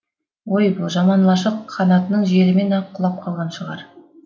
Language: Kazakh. ой бұл жаман лашық қанатының желімен ақ құлап қалған шығар